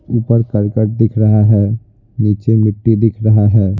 ऊपर करकट दिख रहा है नीचे मिट्टी दिख रहा है।